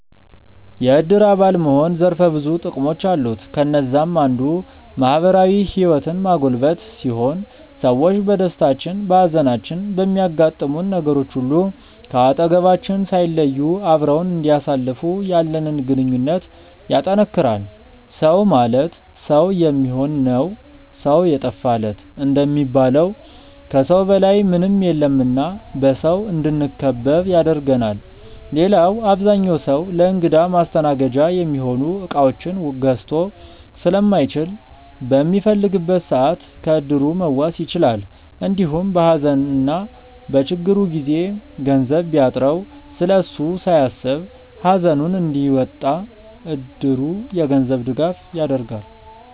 የዕድር አባል መሆን ዘርፈ ብዙ ጥቅሞች አሉት። ከነዛም አንዱ ማህበራዊ ህይወትን ማጎልበት ሲሆን ሰዎች በደስታችን፣ በሃዘናችን፣ በሚያጋጥሙን ነገሮች ሁሉ ከአጠገባችን ሳይለዩ አብረውን እንዲያሳልፉ ያለንን ግንኙነት ያጠነክራል። “ሰው ማለት ሰው የሚሆን ነው ሰው የጠፋ ለት” እንደሚባለው ከሰው በላይ ምንም የለም እና በሰው እንድንከበብ ያደርገናል። ሌላው አብዛኛው ሰው ለእንግዳ ማስተናገጃ የሚሆኑ እቃዎችን ገዝቶ ስለማይችል በሚፈልግበት ሰዓት ከዕድሩ መዋስ ይችላል። እንዲሁም በሃዘንና በችግሩ ጊዜ ገንዘብ ቢያጥረው ስለሱ ሳያስብ ሃዘኑን እንዲወጣ እድሩ የገንዘብ ድጋፍ ያደርጋል።